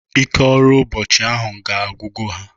Ike ọrụ ụbọchị ahụ ga-agwugo ha.